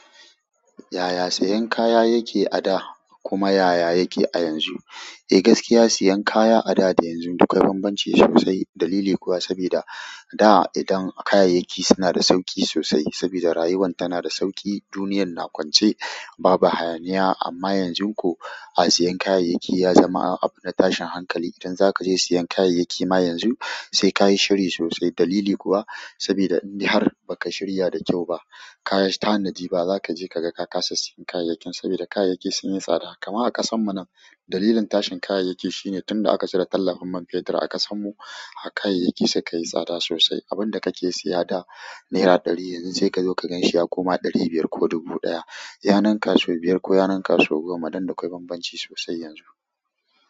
Yaya sayan kaya yake a da kuma yaya yake a yanzu? Eh gaskiya siyan kaya a da da yanzu duk akwai banbanci sosai. Dalili kuwa saboda da idan kayayyaki suna da sauƙi sosai saboda rayuwa tana da sauƙi, duniyar na kwance, babu hayaniya. Amma yanzu ko a siyen kayayyaki ya zama abu na tashin hankali. Idan za ka je siyen kayayyaki ma yanzu sai ka yi shiri sosai. Dalili kuwa saboda in har ba ka shirya da kyau ba, kayi tanadi ba za ka je ka ga ka ƙasa siyan kayayyakin saboda kayayyaki sun yi tsada. Kamar a ƙasarmu nan dalilin tashin kayayyaki shine tun da aka cire tallafin man fetur a ƙasarmu kayayyaki suka yi tsada sosai. Abin da ka ke siya da naira ɗari yanzu sai ka zo ka ganshi ya koma ɗari biyar ko dubu ɗaya. Ya nunka saubiyar ko ya nunka sau goma don da akwai bambanci sosai yanzu.